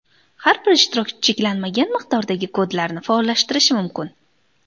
Har bir ishtirokchi cheklanmagan miqdordagi kodlarni faollashtirishi mumkin.